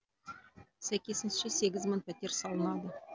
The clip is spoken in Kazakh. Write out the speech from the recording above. сәйкесінше сегіз мың пәтер салынады